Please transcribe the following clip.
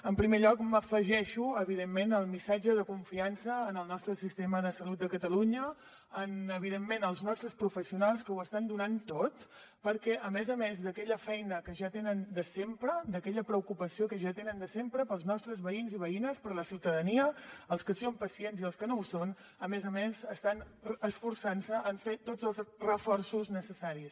en primer lloc m’afegeixo evidentment al missatge de confiança en el nostre sistema de salut de catalunya en evidentment els nostres professionals que ho estan donant tot perquè a més a més d’aquella feina que ja tenen de sempre d’aquella preocupació que ja tenen de sempre pels nostres veïns i veïnes per la ciutadania pels que són pacients i els que no ho són a més a més estan esforçant se en fer tots els reforços necessaris